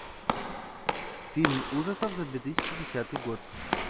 фильм ужасов за две тысячи десятый год